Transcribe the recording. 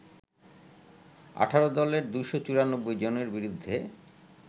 ১৮ দলের ২৯৪ জনের বিরুদ্ধে